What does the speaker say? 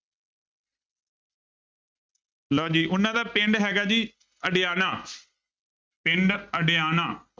ਲਓ ਜੀ ਉਹਨਾਂ ਦਾ ਪਿੰਡ ਹੈਗਾ ਜੀ ਅਡਿਆਣਾ ਪਿੰਡ ਅਡਿਆਣਾ।